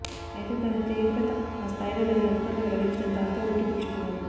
అయితే దాని తీవ్రత ఆ స్థాయిలో లేదని అధికారులు వెల్లడించడంతో అంతా ఊపిరి పీల్చుకున్నారు